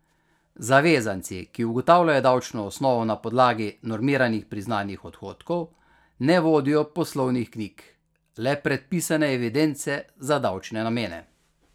Zavezanci, ki ugotavljajo davčno osnovo na podlagi normiranih priznanih odhodkov, ne vodijo poslovnih knjig, le predpisane evidence za davčne namene.